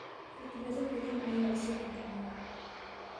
Fikrado badan ayaa isaga dhameeya